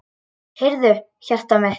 Heyrðu, hjartað mitt.